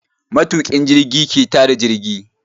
Matuƙin jirgi ke ta da jirgi.